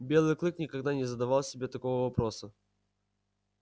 белый клык никогда не задавал себе такого вопроса